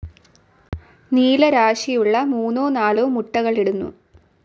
നീലരാശിയുള്ള മൂന്നോ നാലോ മുട്ടകളിടുന്നു.